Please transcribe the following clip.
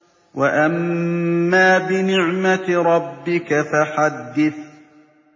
وَأَمَّا بِنِعْمَةِ رَبِّكَ فَحَدِّثْ